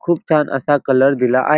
खूप छान असा कलर दिला आहे.